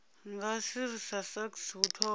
nga srsa sasc u thoma